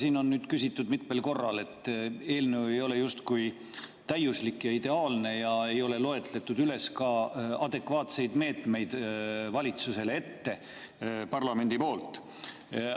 Siin on nüüd mitmel korral, et eelnõu ei ole justkui täiuslik ja ideaalne ja ei ole loetletud ka adekvaatseid meetmeid valitsusele parlamendi poolt.